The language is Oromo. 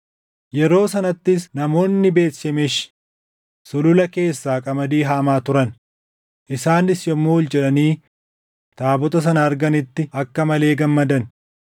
Yeroo sanattis namoonni Beet Shemeshi sulula keessaa qamadii haamaa turan; isaanis yommuu ol jedhanii taabota sana arganitti akka malee gammadan.